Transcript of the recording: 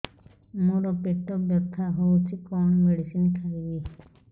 ମୋର ପେଟ ବ୍ୟଥା ହଉଚି କଣ ମେଡିସିନ ଖାଇବି